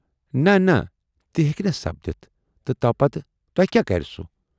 نہ نہ ، تہِ ہیکہِ نہٕ سپدِتھ تہٕ تَوٕ پَتہٕ توہہِ کیاہ کَرِ سُہ